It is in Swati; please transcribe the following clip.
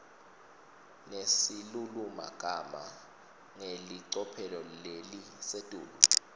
nesilulumagama ngelicophelo lelisetulu